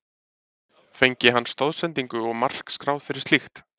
Fengi hann stoðsendingu og mark skráð fyrir slíkt?